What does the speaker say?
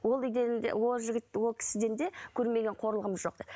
ол үйден де ол жігіт ол кісіден де көрмеген қорлығым жоқ деп